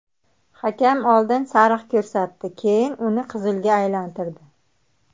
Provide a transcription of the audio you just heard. Hakam oldin sariq ko‘rsatdi, keyin uni qizilga aylantirdi.